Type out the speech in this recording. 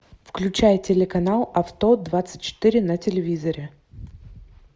включай телеканал авто двадцать четыре на телевизоре